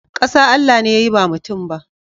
Kasa Allah ne ya yi ba mutum ba.